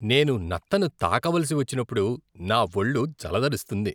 నేను నత్తను తాకవలసి వచ్చినప్పుడు నా ఒళ్ళు జలదరిస్తుంది.